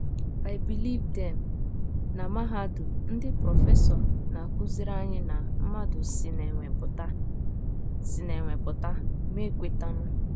I believed them. Na mahadum, ndị prọfesọ na - akụziri anyị na mmadụ si n’enwe pụta si n’enwe pụta, mụ ekwetanụ.